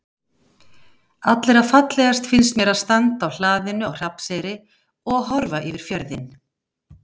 Allra fallegast finnst mér að standa á hlaðinu á Hrafnseyri og horfa yfir fjörðinn.